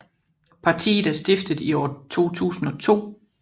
Partiet er stiftet i år 2002